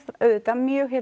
mjög